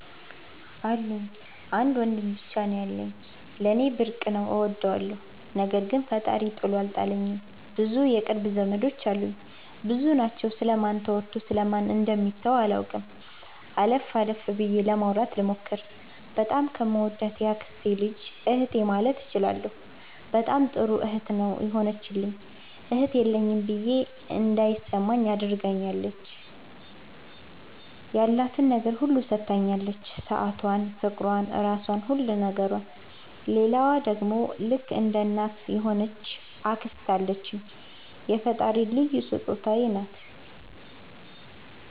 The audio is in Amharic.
አሉኝ። አንድ ወንድም ብቻ ነው ያለኝ። ለኔ ብርቅ ነው እወደዋለሁ። ነገር ግን ፈጣሪ ጥሎ አልጣለኝም ብዙ የቅርብ ዘመዶች አሉኝ። ብዙ ናቸው ስለ ማን ተወርቶ ስለ ማን ደሚተው አላቅም። አለፍ አለፍ ብዬ ለማውራት ልሞክር። በጣም ከምወዳት የአክስቴ ልጅ እህቴ ማለት እችላለሁ በጣም ጥሩ እህት ነው የሆነችልኝ እህት የለኝም ብዬ እንዳይማኝ አድርጋኛለች። ያላትን ነገር ሁሉ ሠታኛለች ሠአቷን ፍቅሯን ራሧን ሁሉ ነገሯን። ሌላዋ ደሞ ልክ እንደ እናት የሆነች አክስት አለችኝ የፈጣሪ ልዩ ሥጦታዬ ናት።